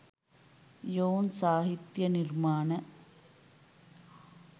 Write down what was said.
යොවුන් සාහිත්‍ය නිර්මාණ